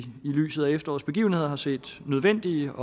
lyset af efterårets begivenheder har set nødvendige